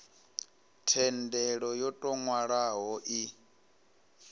thendelo yo tou nwalwaho i